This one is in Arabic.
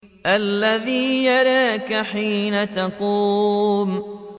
الَّذِي يَرَاكَ حِينَ تَقُومُ